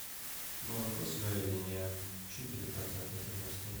молоко своя линия четыре процента жирности